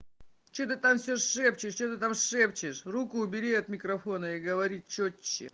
что ты там всё шепчешь что ты там шепчешь руку убери от микрофона и говори чётче